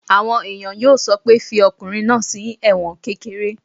Àwọn èèyàn yóò sọ pé "fi ọkùnrin náà sí ẹ̀wọ̀n kékeré!"